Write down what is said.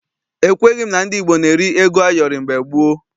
Ekweghị m na ndị Igbo na-eri ego ayọrị mgbe gboo.